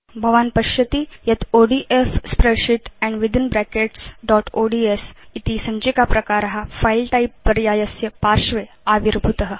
भवान् पश्यति यत् ODF spreadsheet and within brackets dot ODS इति सञ्चिका प्रकार फिले टाइप पर्यायस्य पार्श्वे आविर्भूत